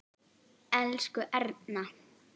Elsku Erna.